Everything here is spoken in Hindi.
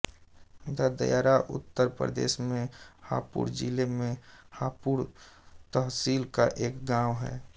ददायरा उत्तर प्रदेश में हापुड़ जिले में हापुड़ तहसील का एक गाँव है